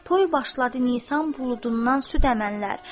Toy başladı Nisan buludundan süd əmənlər.